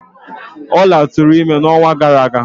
Ola tụrụ ime n'ọnwa gara aga.